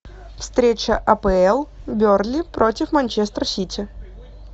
встреча апл бернли против манчестер сити